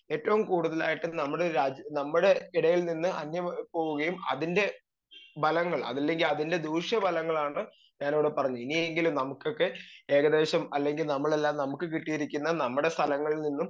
speaker 2 ഏറ്റോം കൂടുതലായിട്ട് നമ്മടെ രാജ്യം നമ്മളെ എടേൽ നിന്ന് അന്യം പോവുകയും അതിൻ്റെ ഭലങ്ങൾ അല്ലെങ്കി അതിൻ്റെ ദൂഷ്യഫലങ്ങളാണ് ഞാനിവിടെ പറഞ്ഞെ ഇനിയെങ്കിലും നമുക്കൊക്കെ ഏകദേശം അല്ലെങ്കി നമ്മളെല്ലാം നമുക്ക് കിട്ടിയിരിക്കുന്ന നമ്മടെ സ്ഥലങ്ങളിൽ നിന്നും